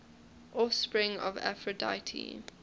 offspring of aphrodite